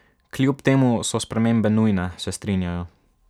Kljub temu so spremembe nujne, se strinjajo.